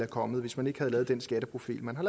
kommet hvis man ikke havde lavet den skatteprofil man har